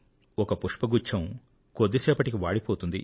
ఒక పుష్పగుచ్ఛం కొద్దిసేపటికి వాడిపోతుంది